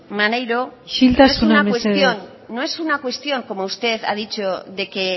maneiro isiltasuna mesedez no es una cuestión no es una cuestión como usted ha dicho de que